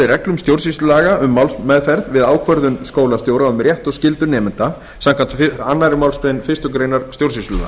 reglum stjórnsýslulaga um málsmeðferð við ákvörðun skólastjóra og við rétt og skyldur nemenda samkvæmt annarri málsgrein fyrstu grein stjórnsýslulaga